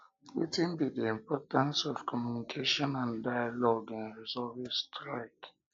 wetin wetin be di importance of communication and dialogue in resolving strike